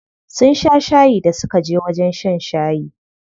Sun sha shayi da suka je wajen shan shayi.